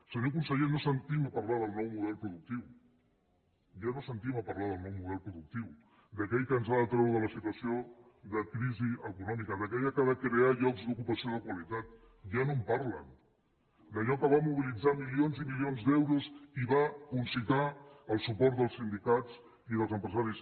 senyor conseller no sentim parlar del nou model productiu ja no sentim a parlar del nou model productiu d’aquell que ens ha de treure de la situació de crisi econòmica d’aquell que ha de crear llocs d’ocupació de qualitat ja no en parlen d’allò que va mobilitzar milions i milions d’euros i va concitar el suport dels sindicats i dels empresaris